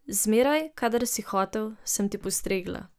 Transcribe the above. Zmeraj, kadar si hotel, sem ti postregla.